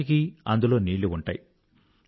ఈనాటికీ అందులో నీళ్ళు ఉంటాయి